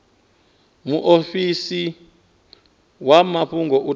muofisi wa mafhungo u tea